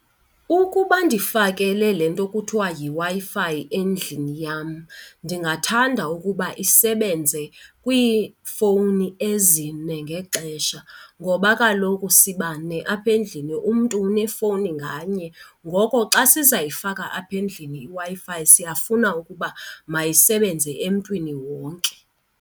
Ukuba ndifakele le nto kuthiwa yiWi-Fi endlini yam ndingathanda ukuba isebenze kwiifowuni ezine ngexesha. Ngoba kaloku sibane apha endlini, umntu unefowuni nganye, ngoko xa sizayifaka apha endlini iWi-Fi siyafuna ukuba mayisebenze emntwini wonke.